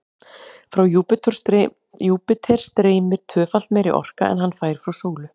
Frá Júpíter streymir tvöfalt meiri orka en hann fær frá sólu.